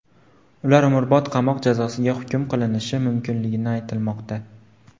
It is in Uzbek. Ular umrbod qamoq jazosiga hukm qilinishi mumkinligi aytilmoqda.